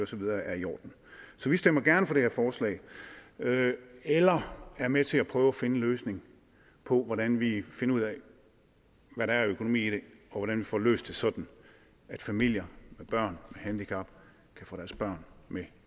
så videre er i orden så vi stemmer gerne for det her forslag eller er med til at prøve at finde en løsning på hvordan vi finder ud af hvad der er af økonomi i det og hvordan vi får løst det sådan at familier med børn handicap kan få deres børn med